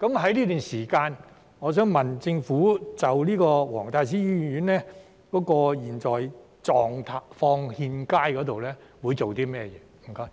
在這段時間，我想問政府就黃大仙醫院現時狀況欠佳會做些甚麼？